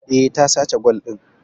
Eh, ta sace gwal din